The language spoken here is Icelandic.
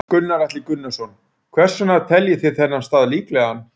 Gunnar Atli Gunnarsson: Hvers vegna teljið þið þennan stað líklegan?